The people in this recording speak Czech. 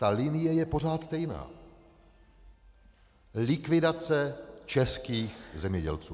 Ta linie je pořád stejná - likvidace českých zemědělců.